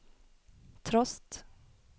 trost